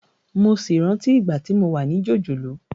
Mo sì rántí ìgbà tí mo wà ní jòjòló